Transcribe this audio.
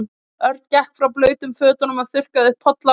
Örn gekk frá blautum fötunum og þurrkaði upp polla af gólfinu.